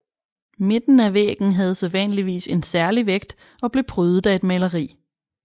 Midten af væggen havde sædvanligvis en særlig vægt og blev prydet af et maleri